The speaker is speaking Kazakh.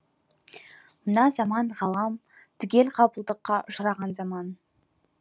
мына заман ғалам түгел ғапылдыққа ұшыраған заман